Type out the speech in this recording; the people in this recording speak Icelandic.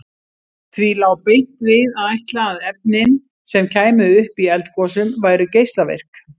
Því lá beint við að ætla að efnin sem kæmu upp í eldgosum væru geislavirk.